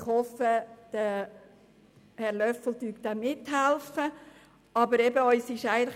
Ich hoffe, Grossrat Löffel-Wenger unterstütze das.